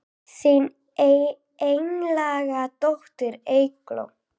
Þín einlæga dóttir Eygló.